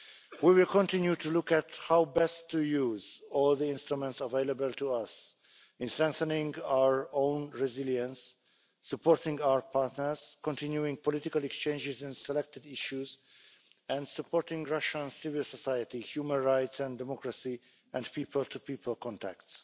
We will continue to look at how best to use all the instruments available to us in strengthening our own resilience, supporting our partners, continuing political exchanges in selected issues and supporting Russian civil society, human rights and democracy, and people to people contacts.